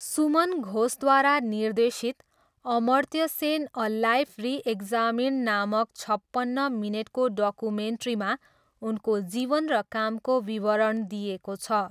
सुमन घोषद्वारा निर्देशित 'Amartya Sen a life reexamined' नामक छपन्न मिनेटको डकुमेन्ट्रीमा उनको जीवन र कामको विवरण दिइएको छ।